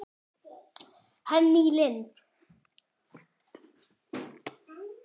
Henný Lind.